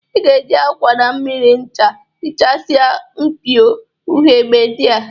I ga-eji akwa, na mmiri ncha hichasia mpio ughebe ndị a